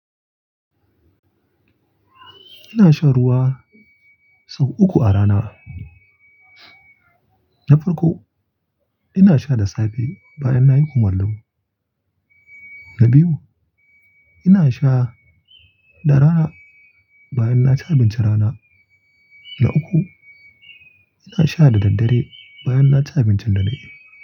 Ina sha ruwa sau uku a rana. Na farko, ina sha da safe bayan nayi kumallo. Na biyu, ina sha da rana bayan naci abincin rana. Na uku, ina sha da daddare bayan naci abincin dare.